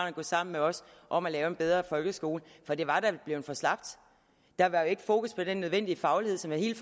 at gå sammen med os om at lave en bedre folkeskole for det var da blevet for slapt der var jo ikke fokus på den nødvendige faglighed som er hele